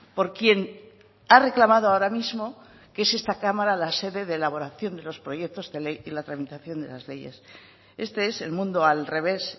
por quien ha reclamado ahora mismo que es está cámara la sede de elaboración de los proyectos de ley y la tramitación de las leyes este es el mundo al revés